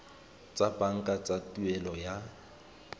tsa banka tsa tuelo ya